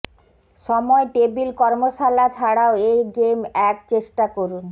সময় টেবিল কর্মশালা ছাড়াও এই গেম এক চেষ্টা করুন